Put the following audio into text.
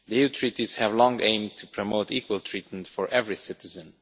The EU Treaties have long aimed to promote equal treatment for every citizen.